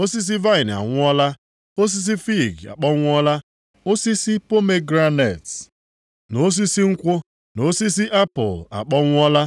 Osisi vaịnị anwụọla. Osisi fiig akpọnwụọla. Osisi pomegranet na osisi nkwụ, na osisi apụl akpọnwụọla.